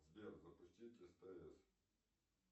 сбер запустить стс